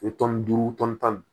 O ye duuru tan ni